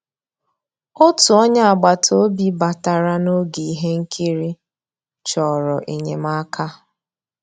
Ótú ónyé àgbàtà òbí bàtarà n'ògé íhé nkírí, chọ̀rọ́ ényémàká.